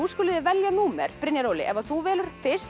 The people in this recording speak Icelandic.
skuluð þið velja númer Brynjar Óli ef þú velur fyrst